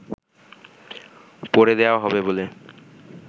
পরে দেয়া হবে বলে